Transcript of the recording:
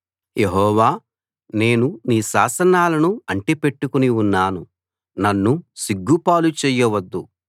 యెహోవా నేను నీ శాసనాలను అంటి పెట్టుకుని ఉన్నాను నన్ను సిగ్గుపాలు చెయ్యవద్దు